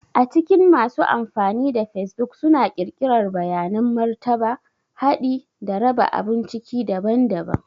A cikin masu amfani da facebook suna ƙirƙirar bayanan martaba, haɗi, da raba abun ciki daban-daban.